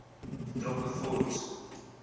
betrokke fonds